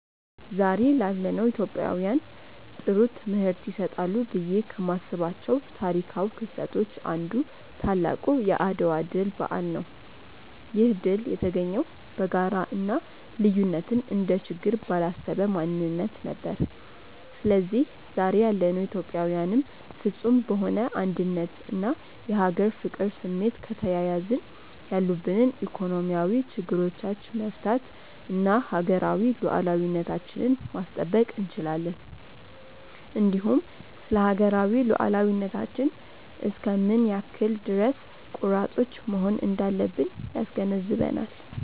ዛሬ ላለነው ኢትዮጵያውያን ጥሩ ትምህርት ይሰጣሉ ብዬ ከማስባቸው ታሪካው ክስተቶች አንዱ ታላቁ የአድዋ ድል በዓል ነው። ይህ ድል የተገኘው በጋራ እና ልዩነትን እንደ ችግር ባላሰበ ማንነት ነበር። ስለዚህ ዛሬ ያለነው ኢትዮጵያዊያንም ፍፁም በሆነ አንድነት እና የሀገር ፍቅር ስሜት ከተያያዝን ያሉብንን ኢኮኖሚያዊ ችግሮቻች መፍታት እና ሀገራዊ ሉዓላዊነታችንን ማስጠበቅ እንችላለን። እንዲሁም ስለሀገራዊ ሉዓላዊነታችን እስከ ምን ያክል ድረስ ቆራጦች መሆን እንዳለብን ያስገነዝበናል።